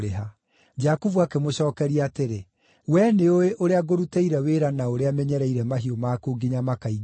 Jakubu akĩmũcookeria atĩrĩ, “Wee nĩũũĩ ũrĩa ngũrutĩire wĩra na ũrĩa menyereire mahiũ maku nginya makaingĩha.